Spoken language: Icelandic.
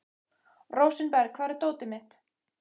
Rósinberg, hvar er dótið mitt?